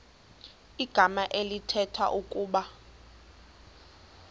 igama elithetha ukuba